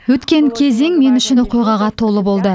өткен кезең мен үшін оқиғаға толы болды